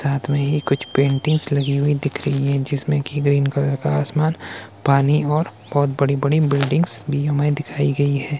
साथ में ही कुछ पेंटिंग्स लगी हुई दिख रही हैं जिसमें कि गई इन कलर का आसमान पानी और बहुत बड़ी बड़ी बिल्डिंग्स भी हमें दिखाई गई है।